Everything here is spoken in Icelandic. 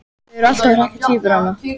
Þau eru alltaf að hrekkja tvíburana.